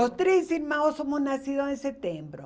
Os três irmãos somos nascidos em setembro.